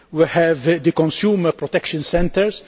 We have the consumer protection centres